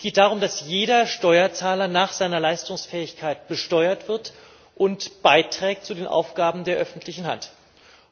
Es geht darum, dass jeder Steuerzahler nach seiner Leistungsfähigkeit besteuert wird und zu den Aufgaben der öffentlichen Hand beiträgt.